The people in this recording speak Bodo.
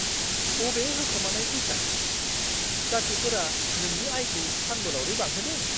बबे होखोमानाय फैसा-जाथिफोरा नोंनि आयखौ सानबोलावरि बांहोदों?